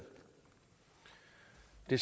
vi